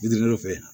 fɛ